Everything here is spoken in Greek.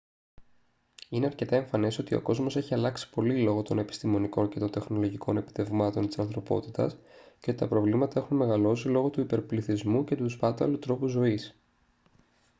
είναι αρκετά εμφανές ότι ο κόσμος έχει αλλάξει πολύ λόγω των επιστημονικών και των τεχνολογικών επιτευγμάτων της ανθρωπότητας και ότι τα προβλήματα έχουν μεγαλώσει λόγω του υπερπληθυσμού και του σπάταλου τρόπου ζωής